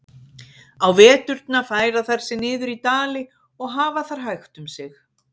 Á veturna færa þær sig niður í dali og hafa þar hægt um sig.